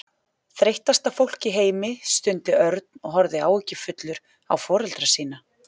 Þreyttasta fólk í heimi stundi Örn og horfði áhyggjufullur á foreldra sína.